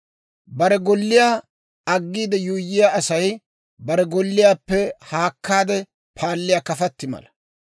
Bare golliyaa aggiide yuuyyiyaa asay, bare golliyaappe haakkaade paalliyaa kafatti mala.